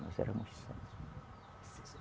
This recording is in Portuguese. Nós éramos sete.